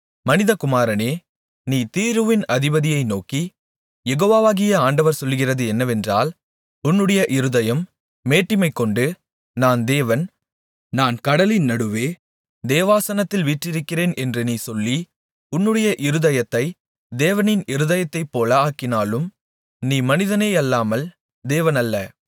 மனிதகுமாரனே நீ தீருவின் அதிபதியை நோக்கி யெகோவாகிய ஆண்டவர் சொல்லுகிறது என்னவென்றால் உன்னுடைய இருதயம் மேட்டிமைகொண்டு நான் தேவன் நான் கடலின் நடுவே தேவாசனத்தில் வீற்றிருக்கிறேன் என்று நீ சொல்லி உன்னுடைய இருதயத்தைத் தேவனின் இருதயத்தைப்போல ஆக்கினாலும் நீ மனிதனேயல்லாமல் தேவனல்ல